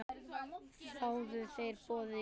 Þáðu þeir boðið í gær.